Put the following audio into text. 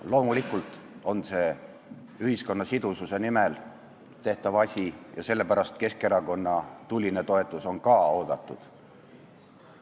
Loomulikult on see ühiskonna sidususe nimel tehtav asi ja sellepärast on ka Keskerakonna tuline toetus oodatud.